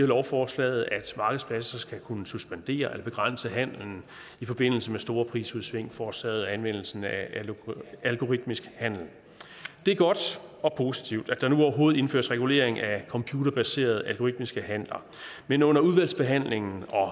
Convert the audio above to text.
lovforslaget at markedspladser skal kunne suspendere og begrænse handelen i forbindelse med store prisudsving forårsaget af anvendelsen af algoritmisk handel det er godt og positivt at der nu overhovedet indføres regulering af computerbaserede algoritmiske handler men under udvalgsbehandlingen og